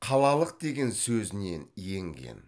қалалық деген сөзінен енген